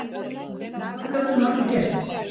En hvað gat hún að því gert?